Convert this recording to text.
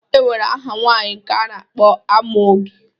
E nwere aha nwaanyị nke a na-akpọ Amaoge